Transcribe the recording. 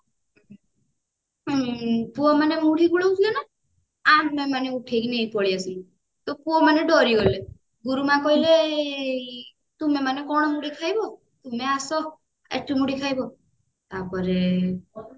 ପୁଅ ମାନେ ମୁଢି ଗୋଲଉଥିଲେ ନା ଆମେ ମାନେ ଉଠେଇକି ନେଇକି ପଳେଇ ଆସିଲୁ ତ ପୁଅମାନେ ଡରିଗଲେ ଗୁରୁମା କହିଲେ ତୁମେମାନେ କଣ ମୁଢି ଖାଇବ ତୁମେ ଆସ ଏଠୁ ମୁଢି ଖାଇବ ତାପରେ